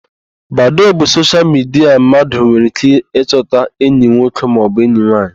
Badoo bụ soshial midia mmadụ nwere íké ịchọta enyi nwoke maọbụ enyi nwaanyị.